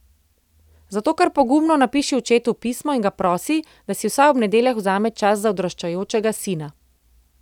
Zato kar pogumno napiši očetu pismo in ga prosi, da si vsaj ob nedeljah vzame čas za odraščajočega sina.